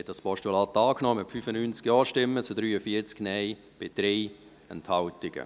Sie haben das Postulat angenommen, mit 95 Ja- zu 43 Nein-Stimmen bei 3 Enthaltungen.